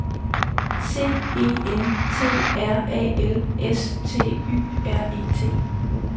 C E N T R A L S T Y R E T